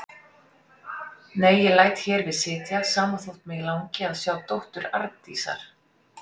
Nei, ég læt hér við sitja, sama þótt mig langi að sjá dóttur Arndísar.